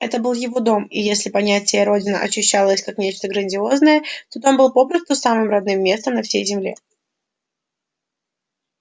это был его дом и если понятие родина ощущалось как нечто грандиозное то дом был попросту самым родным местом на всей земле